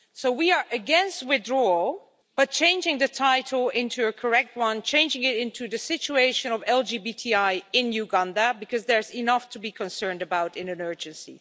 We are against withdrawal, but for changing the title into a correct one, changing it into the Situation of LGBTI in Uganda' because there's enough to be concerned about in an urgency.